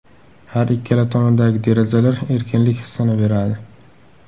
Har ikkala tomondagi derazalar erkinlik hissini beradi.